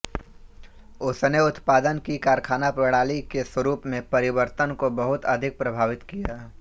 उसने उत्पादन की कारखाना प्रणाली के स्वरूप में परिवर्तन को बहुत अधिक प्रभावित किया